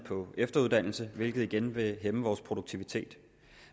efteruddannelse hvilket igen vil hæmme vores produktivitet